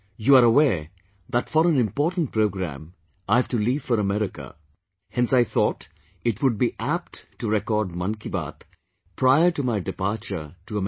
You are aware that for an important programme, I have to leave for America...hence I thought it would be apt to record Mann Ki Baat, prior to my departure to America